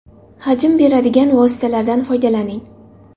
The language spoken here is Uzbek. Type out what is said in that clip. Hajm beradigan vositalardan foydalaning.